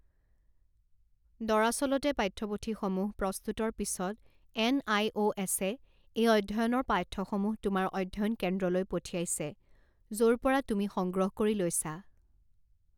দৰাচলতে পাঠ্যপুথিসমূহ প্ৰস্তুতৰ পিছত এন আই অ এছে এই অধ্যয়নৰ পাঠ্যসমূহ তোমাৰ অধ্যয়ন কেন্দ্ৰলৈ পঠিয়াইছে য ৰ পৰা তুমি সংগ্ৰহ কৰি লৈছা।